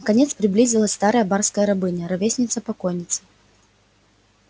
наконец приблизилась старая барская рабыня ровесница покойницы